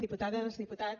diputades diputats